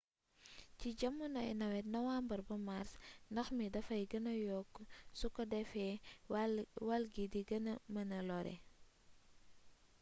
ci jamonoy nawet nowàmbre ba màrs ndox mi dafay gêna yokk suko defee wall gi di gëna mëna lore